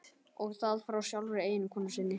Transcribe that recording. Og það frá sjálfri eiginkonu sinni.